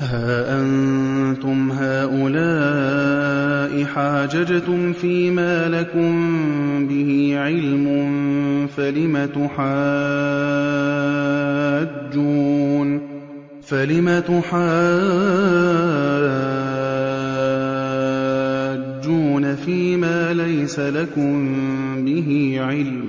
هَا أَنتُمْ هَٰؤُلَاءِ حَاجَجْتُمْ فِيمَا لَكُم بِهِ عِلْمٌ فَلِمَ تُحَاجُّونَ فِيمَا لَيْسَ لَكُم بِهِ عِلْمٌ ۚ